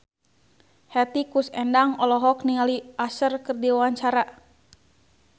Hetty Koes Endang olohok ningali Usher keur diwawancara